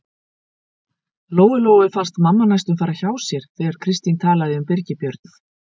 Lóu-Lóu fannst mamma næstum fara hjá sér þegar Kristín talaði um Birgi Björn.